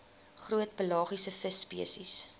groot pelagiese visspesies